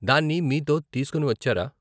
దాన్ని మీతో తీసుకుని వచ్చారా?